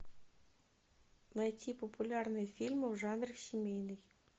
найти популярные фильмы в жанре семейный